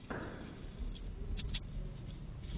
ютьюб фэйз эйпекс